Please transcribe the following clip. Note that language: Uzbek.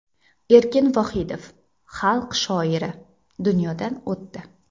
Erkin Vohidov, Xalq shoiri, dunyodan o‘tdi.